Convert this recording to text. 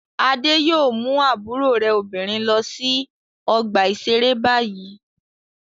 Adé yóò mú àbúrò rẹ̀ obìnrin lọ sí ọgbà-ìṣeré báyìí.